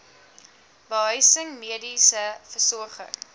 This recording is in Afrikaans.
behuising mediese versorging